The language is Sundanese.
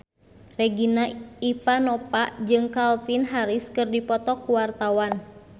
Regina Ivanova jeung Calvin Harris keur dipoto ku wartawan